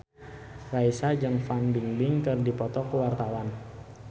Raisa jeung Fan Bingbing keur dipoto ku wartawan